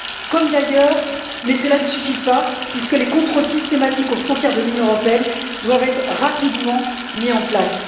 comme d'ailleurs, mais cela ne suffit pas, les contrôles systématiques aux frontières de l'Union européenne qui doivent être rapidement mis en place